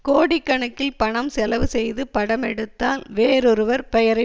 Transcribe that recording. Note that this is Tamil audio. கோடிக்கணக்கில் பணம் செலவு செய்து படம் எடுத்தால் வேறொருவர் பெயரை